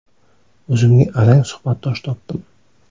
O‘zimga arang suhbatdosh topdim.